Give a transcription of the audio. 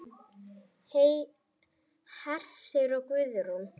Hersir og Guðrún.